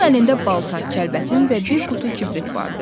Onun əlində balta, kəlbətin və bir qutu kibrit vardı.